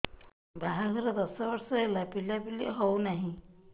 ବାହାଘର ଦଶ ବର୍ଷ ହେଲା ପିଲାପିଲି ହଉନାହି